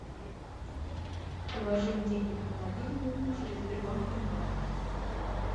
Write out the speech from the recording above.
положить денег на мобильный через сбербанк онлайн